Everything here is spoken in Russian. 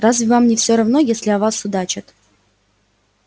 разве вам не всё равно если о вас судачат